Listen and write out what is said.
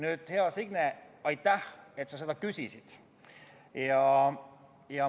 Nüüd, hea Signe, aitäh, et sa küsisid!